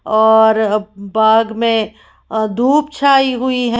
औरर बाग में धूप छाई हुई है।